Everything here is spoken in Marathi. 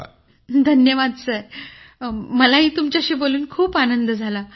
धन्यवाद धन्यवाद सर मलाही तुमच्याशी बोलून खूप आनंद झाला